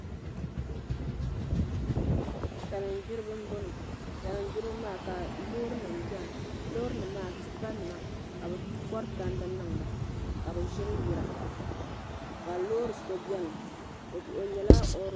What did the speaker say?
salin'gbiriba m-bɔŋɔ salingbiriba maa ka loorinima bɛni--- loorinima m-a--a tipanima ka bɛ kɔri tandi niŋ ba ka bɛ ʒiri yira ka loori so bɛni o nyɛla